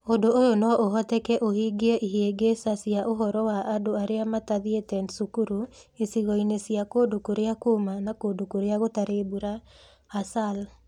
Ũndũ ũyũ no ũhoteke ũhingie ihĩngĩca cia ũhoro wa andũ arĩa matathiĩte cukuru icigoĩnĩ cia kũndũ kũrĩa kũũmũ na kũndũ kũrĩa gũtarĩ mbura (ASAL).